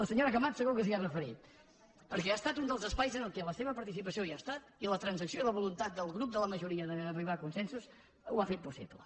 senyora camats segur que s’hi ha referit perquè ha estat un dels espais en què la seva participació hi ha estat i la transacció i la voluntat del grup de la majoria d’arribar a consensos ho han fet possible